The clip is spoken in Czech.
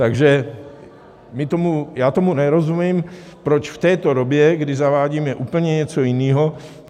Takže já tomu nerozumím, proč v této době, kdy zavádíme úplně něco jiného...